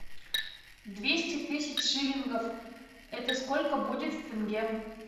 двести тысяч шиллингов это сколько будет в тенге